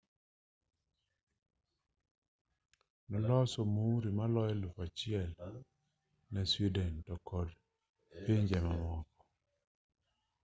noloso muuri maloyo 1,000 ne sweden to kod pinje mamoko 28